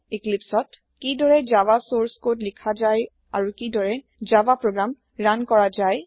ইক্লিপ্চত কি দৰে Java source code লিখা যায় আৰু কি দৰে জাভা প্ৰোগ্ৰাম ৰান কৰা যায়